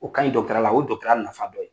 U ka ɲi ya la o ye ya nafa dɔ ye.